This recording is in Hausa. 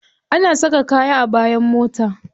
Ana saka kaya a bayan mota.